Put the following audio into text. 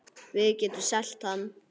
Við getum selt hann.